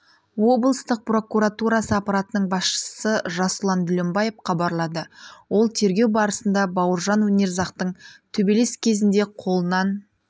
облыстық прокуратурасы аппаратының басшысы жасұлан дүлембаев хабарлады ол тергеу барысында бауыржан өнерзақтың төбелес кезінде қолынан